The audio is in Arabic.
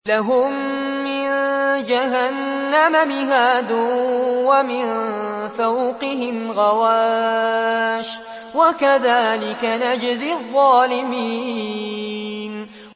لَهُم مِّن جَهَنَّمَ مِهَادٌ وَمِن فَوْقِهِمْ غَوَاشٍ ۚ وَكَذَٰلِكَ نَجْزِي الظَّالِمِينَ